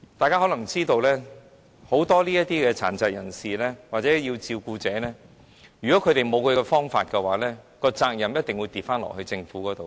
大家可能也知道，很多殘疾人士或照顧者如果沒有辦法處理他們的問題，責任便一定重新落在政府身上。